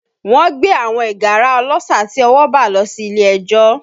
Wọ́n gbé àwọn ìgárá ọlọ́ṣà tí ọwọ́ bà lọ sí ilé ẹjọ́